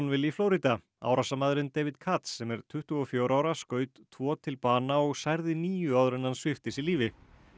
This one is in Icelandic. í Flórída árásarmaðurinn David sem er tuttugu og fjögurra ára skaut tvo til bana og særði níu áður en hann svipti sig lífi